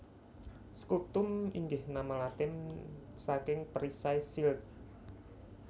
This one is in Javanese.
Scutum inggih nama Latin saking Perisai shield